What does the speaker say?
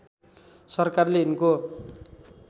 सरकारले यिनको